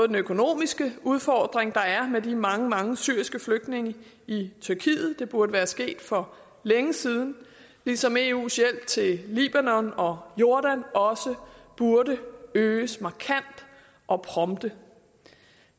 den økonomisk udfordring der er med de mange mange syriske flygtninge i tyrkiet det burde være sket for længe siden ligesom eus hjælp til libanon og jordan også burde øges markant og prompte